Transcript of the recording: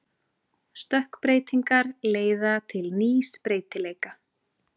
Stökkbreytingar leiða til nýs breytileika.